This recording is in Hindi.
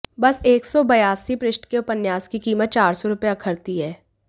बस एक सौ बयासी पृष्ठ के उपन्यास की कीमत चार सौ रुपए अखरती है